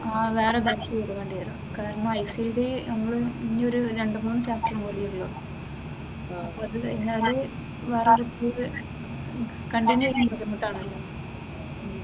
വെറെ ബാച്ചില് വരും കാരണം ഐസിഡി ഇനി ഒരു രണ്ടു മൂന്ന് ചാപ്റ്ററും കൂടിയേയുള്ളു അപ്പൊ അത് കഴിഞ്ഞാല് വെറെ